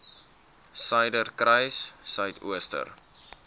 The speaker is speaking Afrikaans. suiderkruissuidooster